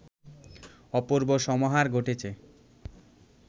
অপূর্ব সমাহার ঘটেছে